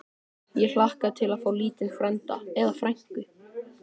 Ég hlakka til að fá lítinn frænda. eða frænku!